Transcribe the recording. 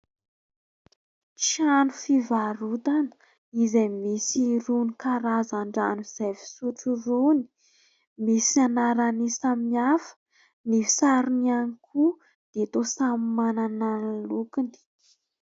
Trano fivarotana, izay misy irony karazan-drano izay fisotro irony. Misy anarany samihafa. Ny sarony ihany koa dia toa samy manana ny lokiny.